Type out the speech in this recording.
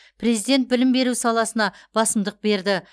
президент білім беру саласына басымдық берді